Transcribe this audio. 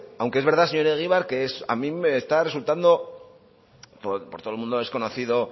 aunque es verdad señor egibar que a mí me está resultando por todo el mundo es conocido